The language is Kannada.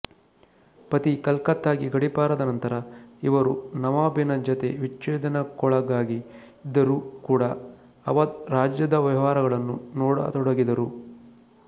ಪತಿ ಕಲ್ಕತ್ತಾಗೆ ಗಡೀಪಾರಾದ ನಂತರ ಇವರು ನವಾಬಿನ ಜತೆ ವಿಚ್ಛೇದನಕ್ಕೊಳಗಾಗಿದ್ದರೂ ಕೂಡ ಅವಧ್ ರಾಜ್ಯದ ವ್ಯವಹಾರಗಳನ್ನು ನೋಡತೊಡಗಿದರು